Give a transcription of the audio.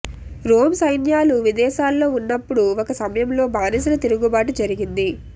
Rome సైన్యాలు విదేశాల్లో ఉన్నప్పుడు ఒక సమయంలో బానిసల తిరుగుబాటు జరిగింది